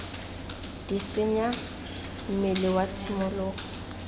d senya mmele wa tshimologo